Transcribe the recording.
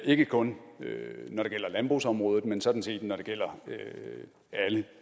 ikke kun når det gælder landbrugsområdet men sådan set når det gælder alle